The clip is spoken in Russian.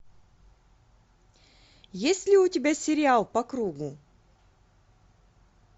есть ли у тебя сериал по кругу